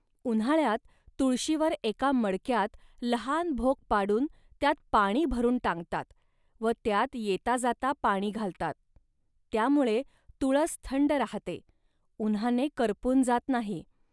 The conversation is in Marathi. उन्हाळ्यात तुळशीवर एका मडक्यात लहान भोक पाडून त्यात पाणी भरून टांगतात व त्यात येताजाता पाणी घालतात. त्यामुळे तुळस थंड राहते, उन्हाने करपून जात नाही